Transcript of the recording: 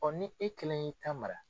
Ɔn ni e kelen y'i ta mara